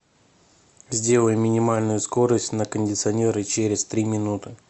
сделай минимальную скорость на кондиционере через три минуты